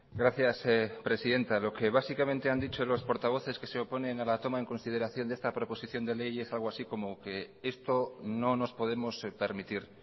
gracias presidenta lo que básicamente han dicho los portavoces que se oponen a la toma en consideración de esta proposición de ley es algo así como que esto no nos podemos permitir